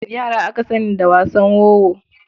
Yara aka sani da wasan wowo.